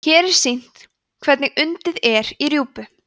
hér er sýnt hvernig undið er í rjúpu